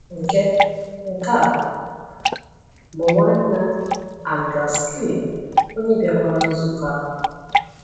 Nke Nke a bụ Nwanna András Pilling, onye bịakwara nzukọ ahụ.